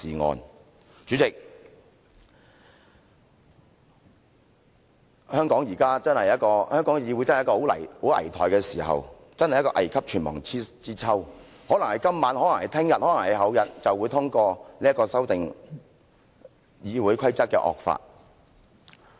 代理主席，香港的議會確實處於一個很危殆的時刻，真是一個危急存亡之秋，可能是今晚，可能是明天，可能是後天便會通過這個修訂《議事規則》的惡法。